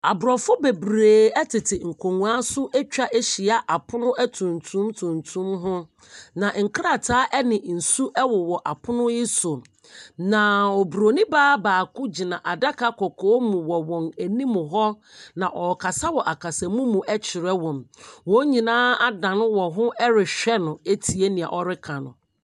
Aborɔfo bebree tete nkonnwa so atwa ahyia apono atuntum tuntum ho, na nkrataa ne nsu wowɔ apono yi so, na oburoni baa baako gyina adaka kɔkɔɔ mu wɔ wɔn anim hɔ, na ɔrekasa wɔ akasamu mu kyerɛ wɔn. Wɔn nyinaa adan wɔn ho rehwɛ no atie nea ɔreka no.